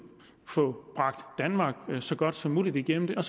at få bragt danmark så godt som muligt igennem den